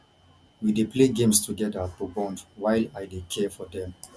we dey play games together to bond while i dey care for dem